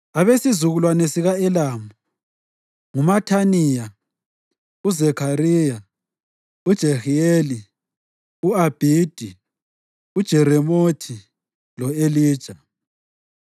Abesizukulwane sika-Elamu: nguMathaniya, uZakhariya, uJehiyeli, u-Abhidi, uJeremothi lo-Elija.